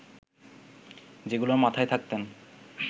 যেগুলোর মাথায় থাকতেন